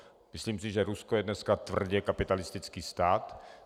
Myslím si, že Rusko je dneska tvrdě kapitalistický stát.